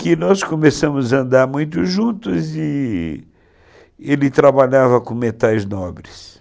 Que nós começamos a andar muito juntos e ele trabalhava com metais nobres.